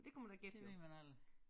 Det ved man aldrig